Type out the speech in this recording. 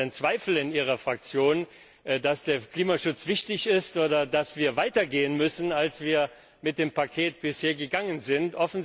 Gibt es denn in Ihrer Fraktion Zweifel daran, dass der Klimaschutz wichtig ist oder dass wir weiter gehen müssen, als wir mit dem Paket bisher gegangen sind?